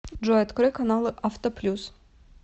джой открой каналы авто плюс